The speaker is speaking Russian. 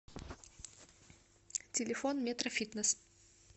телефон метрофитнес